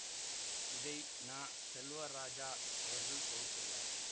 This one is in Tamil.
இதை ந செல்வராஜா அவர்கள் தொகுத்துள்ளார்